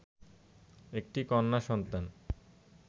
একটি কন্যা সন্তান